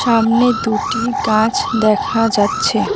সামনে দুটি গাছ দেখা যাচ্ছে।